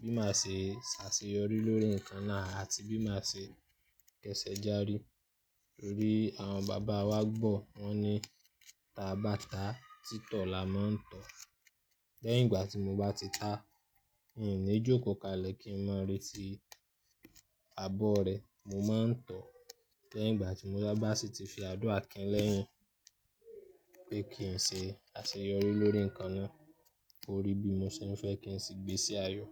bí màá se sàseyọrí lórí nǹkan náà àti bí màá se kẹsẹ́ járí. Nítorí àwọn bàbá wa gbọ́ wọn ní táa bá táa, títọ̀ la máa ń tọ̀. Lẹ́yìn ìgbà tí mo bá ti tá, in ní jókòó kalẹ̀ kí n má retí abọ́ rẹ. Mo máa ń tọ̀. Lẹ́yìn ìgbà tí mo bá sì ti fi àdúrà kin lẹ́yìn pé kí n se àseyọrí lórí nǹkan náà, ko rí bí mo se ń fẹ́ kí n sì gbé sí ayọ̀.